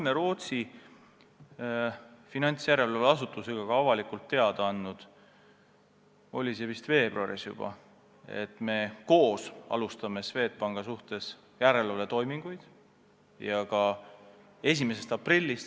Me oleme Rootsi finantsjärelevalve asutusega ka avalikult teada andnud – see oli vist juba veebruaris –, et me alustame koos järelevalvetoiminguid Swedbanki üle.